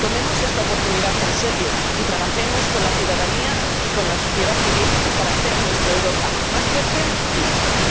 Tomemos esta oportunidad en serio y trabajemos con la ciudadanía y con la sociedad civil para hacer nuestra Europa más fuerte y mejor.